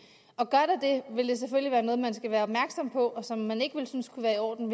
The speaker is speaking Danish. og noget man skal være opmærksom på og som man ikke vil synes er i orden